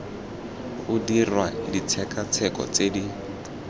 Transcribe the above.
o dirwa ditshekatsheko tse di